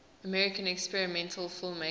american experimental filmmakers